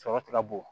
Sɔrɔ ti ka bo